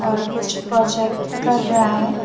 और कुछ प्रोजेक्ट कर रहा है।